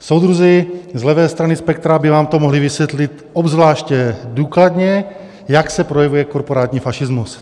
Soudruzi z levé strany spektra by vám to mohli vysvětlit obzvláště důkladně, jak se projevuje korporátní fašismus.